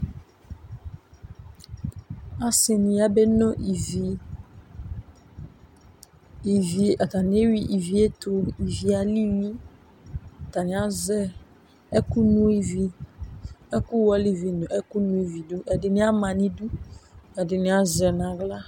ɑsini yɑbenɔ ĩvi ɑyani ɛhu ivietu ivie ɑlili ɑtaniaze ɛkunɔ ivi uku wɔlivi ɛkuno ividu ɛdinia mɑnidu ɛdiniazenahla